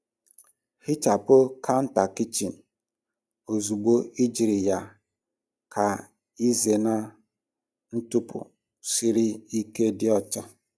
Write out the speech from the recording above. Hichapụ counter kichin ozugbo ejiri ya ka ịzena ntụpọ siri ike dị ọcha.